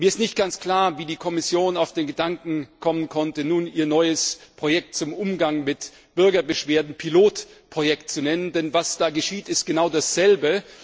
Mir ist nicht ganz klar, wie die Kommission auf den Gedanken kommen konnte, nun ihr neues Projekt zum Umgang mit Bürgerbeschwerden Pilotprojekt zu nennen, denn was da geschieht, ist genau dasselbe.